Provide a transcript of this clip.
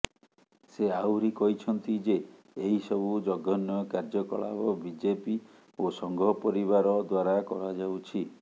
ସେ ଆହୁରି କହିଛନ୍ତି ଯେ ଏହିସବୁ ଜଘନ୍ୟ କାର୍ଯ୍ୟକଳାପ ବିଜେପି ଓ ସଂଘ ପରିବାର ଦ୍ୱାରା କରାଯାଉଛି